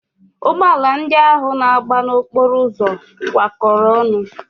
Ụgbọala ndị ahụ na-agba n'okporo ụzọ kwa kọrọ ọnụ.